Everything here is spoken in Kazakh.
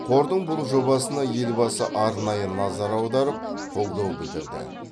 қордың бұл жобасына елбасы арнайы назар аударып қолдау білдірді